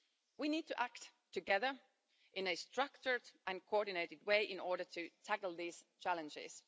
We need to act together in a structured and coordinated way in order to tackle these challenges.